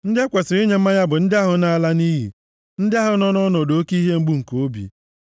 Ndị e kwesiri inye mmanya bụ ndị ahụ na-ala nʼiyi, ndị ahụ nọ nʼọnọdụ oke ihe mgbu nke obi.